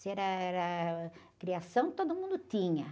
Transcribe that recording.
Se era, era, ah, criação, todo mundo tinha.